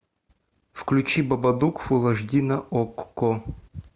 включи бабадук фул аш ди на окко